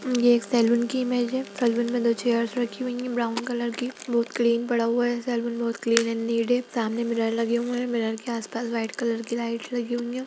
ये एक सैलून की इमेज है सैलून में दो चेयर रखी हुई हैं ब्राउन कलर की बहुत क्लीन पड़ा हुआ है सैलून बहुत क्लीन एंड नीट है सामने मिरर लगे हुए हैं मिरर के आसपास वाइट कलर की लाइट लगी हुई है।